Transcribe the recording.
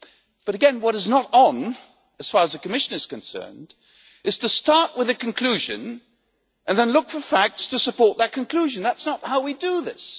But again, what is not on as far as the Commission is concerned is to start with a conclusion and then look for facts to support that conclusion. That is not how we do this.